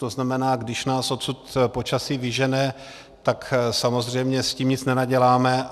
To znamená, když nás odsud počasí vyžene, tak samozřejmě s tím nic nenaděláme.